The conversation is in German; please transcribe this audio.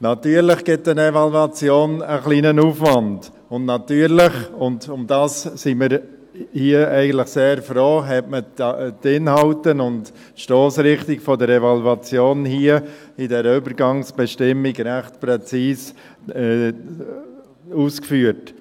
Natürlich gibt eine Evaluation ein wenig Aufwand, und natürlich – und darum sind wir hier eigentlich sehr froh – hat man die Inhalte und die Stossrichtung der Evaluation hier in dieser Übergangsbestimmung recht präzise ausgeführt.